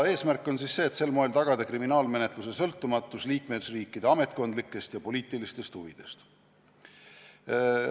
Eesmärk on sel moel tagada kriminaalmenetluse sõltumatus liikmesriikide ametkondlikest ja poliitilistest huvidest.